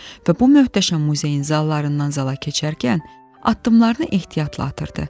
Və bu möhtəşəm muzeyin zallarından zala keçərkən addımlarını ehtiyatla atırdı.